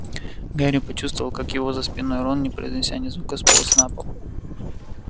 гарри почувствовал как его за спиной рон не произнеся ни звука сполз на пол